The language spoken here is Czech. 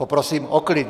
Poprosím o klid.